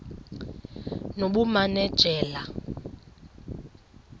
nobumanejala